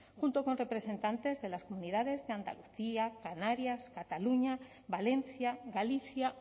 junto con representantes de las comunidades de andalucía canarias cataluña valencia galicia